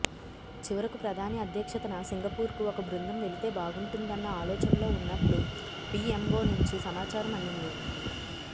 చివకు ప్రధాని అధ్యక్షతన సింగపూర్కు ఒక బృందం వెళితే బాగుంటుందన్న ఆలోచనలో ఉన్నట్లు పిఎంఒ నుంచి సమాచారం అందింది